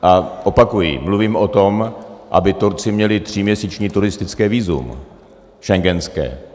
A opakuji, mluvím o tom, aby Turci měli tříměsíční turistické vízum, schengenské.